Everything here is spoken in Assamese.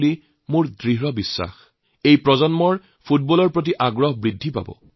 প্ৰত্যেক প্ৰজন্মৰে ফুটবলৰ প্ৰতি আকৰ্ষণ বৃদ্ধি পাব